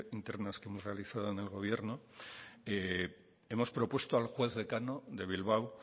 internas que hemos realizado en el gobierno hemos propuesto al juez decano de bilbao